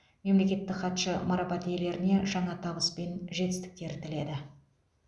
мемлекеттік хатшы марапат иелеріне жаңа табыс мен жетістіктер тіледі